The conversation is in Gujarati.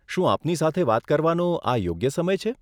શું આપની સાથે વાત કરવાનો આ યોગ્ય સમય છે?